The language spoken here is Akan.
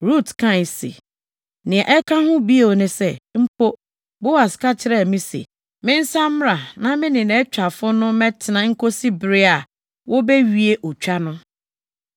Rut kae se, “Nea ɛka ho bio ne sɛ, mpo, Boas ka kyerɛɛ me se, mensan mmra na me ne nʼawitwafo no mmɛtena nkosi bere a wobewie otwa no.”